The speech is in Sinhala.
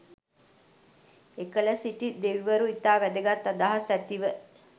එකල සිටි දෙවිවරු ඉතා වැදගත් අදහස් ඇතිව